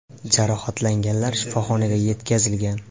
Jarohatlanganlar shifoxonaga yetkazilgan.